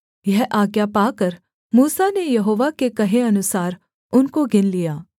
यह आज्ञा पाकर मूसा ने यहोवा के कहे अनुसार उनको गिन लिया